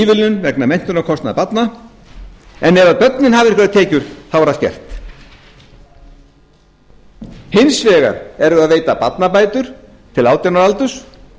ívilnun vegna menntunarkostnaðar barna en ef börnin hafa einhverjar tekjur er allt gert hins vegar erum við að veita barnabætur til átján ára aldurs